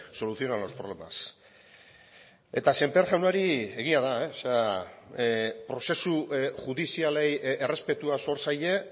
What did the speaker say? solucionan los problemas eta sémper jaunari egia da prozesu judizialei errespetua zor zaie